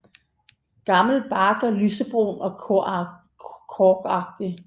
Gammel bark er lysebrun og korkagtig